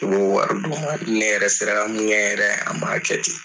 I b'o wari d'u ma n'i ne yɛrɛ sera ka mun kɛ n yɛrɛ ye an b'a kɛ ten.